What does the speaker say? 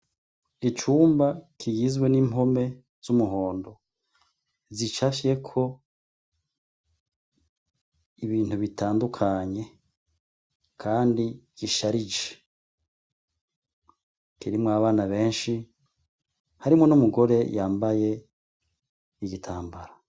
Icumba kiyizwe n'impome z'umuhondo zicafyeko ibintu bitandukanye, kandi gisharije kirimwo abana benshi harimwo n'umugore yambaye igitambara.